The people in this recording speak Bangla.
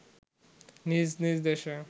নিজ নিজ দেশে